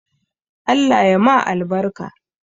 Allah ya ma albarka